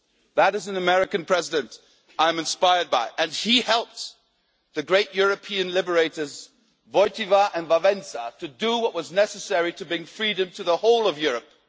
That is an American President I'm inspired by, and he helped the great European liberators Wojtyła and Wałęsa to do what was necessary to bring freedom to the whole of Europe.